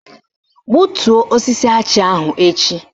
Gbutuo osisi achị ahụ echi!